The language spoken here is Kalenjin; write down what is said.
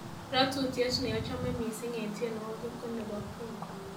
ratutiet neochome missing en tienywogik ko nebo queen